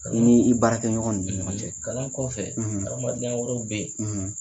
I n'i baarakɛɲɔgɔn ni ɲɔgɔn cɛ kalan kɔfɛ adamadenya wɛrɛ bɛ yen.